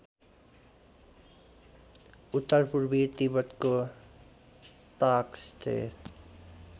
उत्तरपूर्वी तिब्बतको ताकस्तेर